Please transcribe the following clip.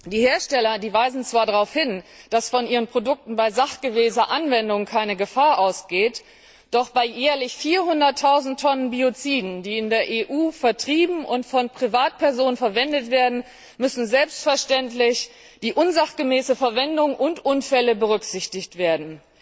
Die Hersteller weisen zwar darauf hin, dass von ihren Produkten bei sachgemäßer Anwendung keine Gefahr ausgeht, doch bei jährlich 400000 Tonnen Bioziden, die in der EU vertrieben und von Privatpersonen verwendet werden, müssen selbstverständlich die unsachgemäße Verwendung und Unfälle berücksichtigt werden.